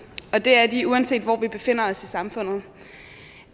og det er de uanset hvor vi befinder os i samfundet